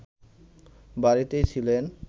বাড়িতেই ছিলেন